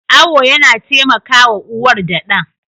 Awo yana taimakawa uwar da ɗan.